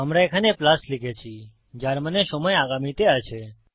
আমরা এখানে প্লাস লিখেছি যার মানে সময় আগামীতে আছে